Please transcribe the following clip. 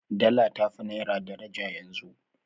Dala ta fi naira daraja yanzu.